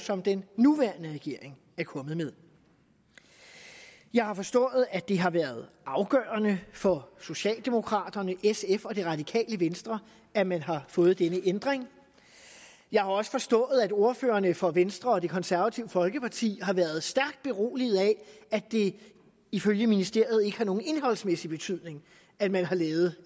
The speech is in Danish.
som den nuværende regering er kommet med jeg har forstået at det har været afgørende for socialdemokraterne sf og det radikale venstre at man har fået denne ændring jeg har også forstået at ordførerne for venstre og det konservative folkeparti har været stærkt beroliget af at det ifølge ministeriet ikke har nogen indholdsmæssig betydning at man har lavet